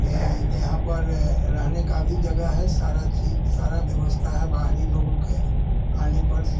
ए यहां पर रहने का भी जगह है सारा चीज सारा व्‍यवस्‍था है बाहरी लोगो के आने पर --